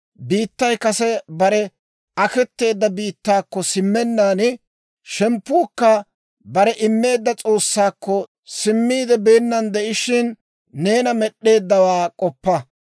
biittay kase bare aketeedda biittaakko simmennaan, shemppuukka barena immeedda S'oossaakko simmiide beenna de'ishiina, neena Med'd'eeddawaa k'oppa.